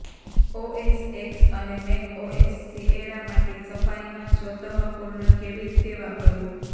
OS X અને macOS Sierra માટે સફારીમાં સ્વતઃપૂર્ણ કેવી રીતે વાપરવું